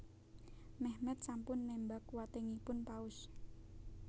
Mehmet sampun némbak wetengipun Paus